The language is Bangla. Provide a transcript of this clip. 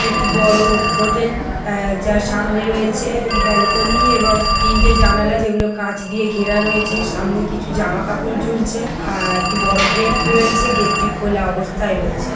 এটি একটি বড়ো হোটেল আর যার সামনে রয়েছে ব্যালকনি এবং তিনটে জানালা যেগুলো কাঁচ দিয়ে ঘেরা রয়েছে সামনে কিছু জামা কাপড় ঝুলছে আর একটি বড়ো গেট রয়েছে গেটটি খোলা অবস্থায় রয়েছে।